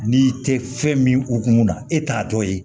N'i tɛ fɛn min hukumu na e t'a dɔn yen